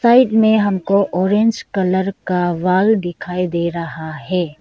Side में हमको orange colour का वॉल दिखाई दे रहा है।